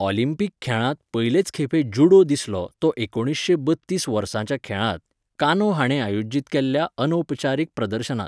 Olympic खेळांत पयलेच खेपे जूडो दिसलो तो एकुणीसशें बत्तीस वर्साच्या खेळांत, कानो हाणें आयोजीत केल्ल्या अनौपचारीक प्रदर्शनांत.